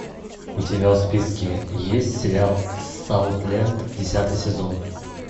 у тебя в списке есть сериал саутленд десятый сезон